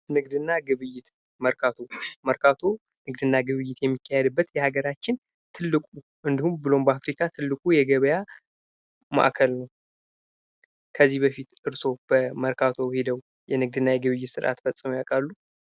ንግድና ግብይት መርካቶ መርካቶ ንግድና ግብይት የሚካሄድበት ሀገራችን ትልቁ እንዲሁም ብሎም በአፍሪካ ትልቁ የገበያ ማዕከል ነው። ከዚህ በፊት እርሶ ምልክት ሄደው የንግድና የግብይት ስራ ፈፅመው ያውቃሉ።